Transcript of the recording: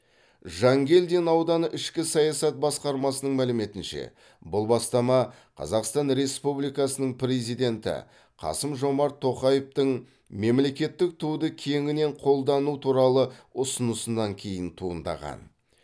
жангелдин ауданы ішкі саясат басқармасының мәліметінше бұл бастама қазақстан республикасының президенті қасым жомарт тоқаевтың мемлекеттік туды кеңінен қолдану туралы ұсынысынан кейін туындаған